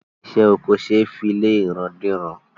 Isé oko ṣe fí lé ìran dé ìran